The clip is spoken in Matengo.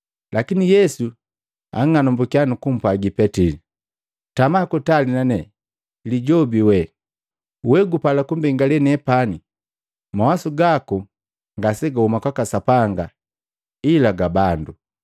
Lakini Yesu jwang'anambuka nukumpwagi Petili, “Tama kutali na nee, Lijobi wee! We gupala kumbengale nepani. Mawasu gaku ngasegahuma kwaka Sapanga ila ga bandu.”